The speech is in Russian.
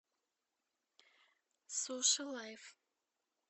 суши лайф